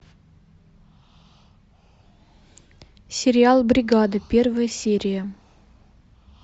сериал бригада первая серия